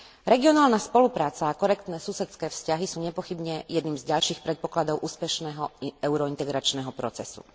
Regionálna spolupráca a korektné susedské vzťahy sú nepochybne jedným z ďalších predpokladov úspešného euro integračného procesu.